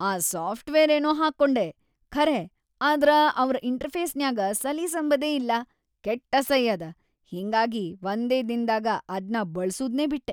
ಆ ಸಾಫ್ಟ್‌ವೇರೇನೋ ಹಾಕ್ಕೊಂಡೆ ಖರೆ ಆದ್ರ ಅವ್ರ್‌ ಇಂಟರ್‌ಫೇಸ್‌ನ್ಯಾಗ ಸಲೀಸಂಬದೇ ಇಲ್ಲಾ ಕೆಟ್ಟ ಅಸೈ ಅದ, ಹಿಂಗಾಗಿ ವಂದೇ ದಿನ್‌ದಾಗ ಅದ್ನ ಬಳ್ಸೂದ್ನೇ ಬಿಟ್ಟೆ.